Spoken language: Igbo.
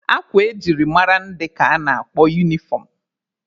Akwa eji mara ndị ka a na-akpọ unifọm.